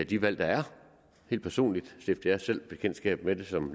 de valg der er helt personligt stiftede jeg selv bekendtskab med det som